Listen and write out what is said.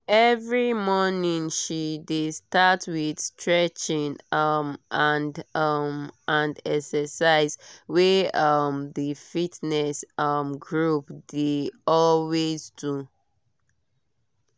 every morning she dey start with stretching um and um and exercise wey um di fitness um group dey always do